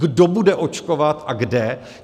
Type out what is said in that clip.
Kdo bude očkovat a kde?